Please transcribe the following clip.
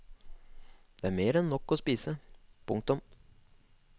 Det er mer enn nok å spise. punktum